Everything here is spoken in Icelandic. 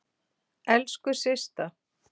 Elsku Systa.